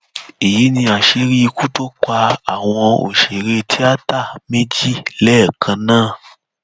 èyí ni àṣírí ikú tó pa àwọn òṣèré tíáta méjì lẹẹkan náà